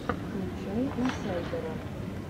включай инсайдера